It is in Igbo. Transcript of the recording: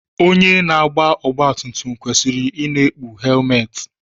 Onye na-agba ọgbatumtum kwesịrị ị na-ekpu helmetị.